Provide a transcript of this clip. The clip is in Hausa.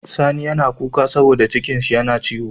Sani yAna kuka saboda cikin shi na ciwo